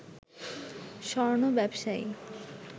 স্বর্ণ ব্যবসায়ী